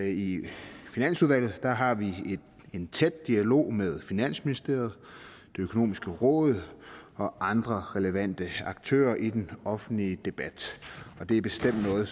i finansudvalget har vi en tæt dialog med finansministeriet det økonomiske råd og andre relevante aktører i den offentlige debat og det er bestemt noget